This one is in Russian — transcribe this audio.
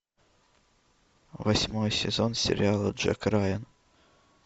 восьмой сезон сериала джек райан